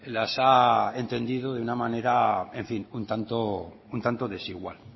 las ha entendido de una manera en fin un tanto desigual